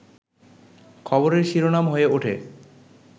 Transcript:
খবরের শিরোনাম হয়ে ওঠে